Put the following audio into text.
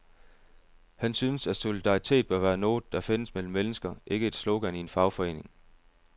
Han synes at solidaritet bør være noget, der findes mellem mennesker, ikke et slogan i en fagforening.